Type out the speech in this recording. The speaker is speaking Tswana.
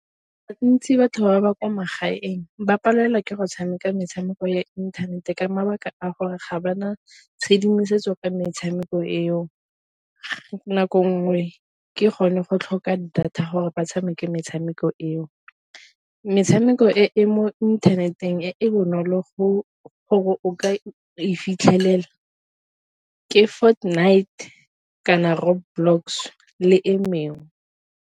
batho ba ba kwa magaeng ba palelwa ke go tshameka metshameko ya inthanete ka mabaka a gore ga ba na tshedimosetso ka metshameko eo, nako nngwe ke gone go tlhoka data gore ba tshameke metshameko eo. Metshameko e e mo internet-eng e e bonolo go ka e fitlhelela ke Fortnite kana Road blocks le e mengwe.